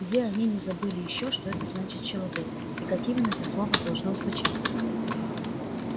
где они не забыли ещё что это значит человек и как именно это слово должно звучать